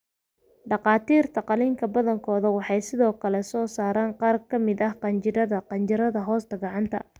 Dhakhaatiirta qalliinka badankooda waxay sidoo kale soo saaraan qaar ka mid ah qanjidhada qanjidhada hoosta gacanta.